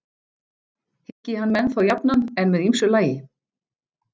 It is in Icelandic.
Hyggi hann menn þó jafnan en með ýmsu lagi.